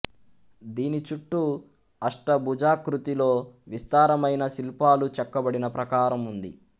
దీని చుట్టూ అష్టభుజాకృతిలో విస్తారమైన శిల్పాలు చెక్కబడిన ప్రాకారం ఉంది